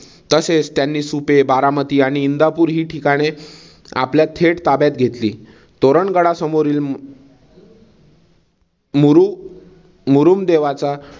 तसेच त्यांनी सुपे बारामती आणि इंदापूर हि ठिकाणे आपल्या थेट ताब्यात घेतली. तोरण गडा समोरील मुरु मुरुम्देवाचा